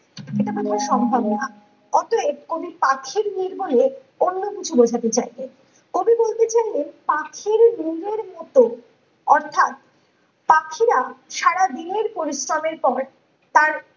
এটা কখনো সম্ভব না অতয়েব কবি পাখির নির বলে অন্য কিছু বোঝাতে চাইছেন কবি বলতে চাইলেন পাখির নীড়ের মত অর্থাৎ পাখিরা সারা দিনের পরিশ্রমের পর তার